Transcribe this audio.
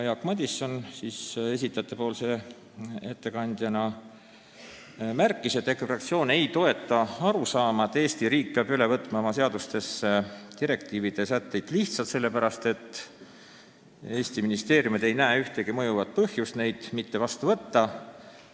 Jaak Madison märkis, et EKRE fraktsioon ei toeta arusaama, et Eesti riik peab oma seadustesse üle võtma direktiivide sätteid lihtsalt sellepärast, et Eesti ministeeriumid ei näe ühtegi mõjuvat põhjust neid mitte vastu võtta.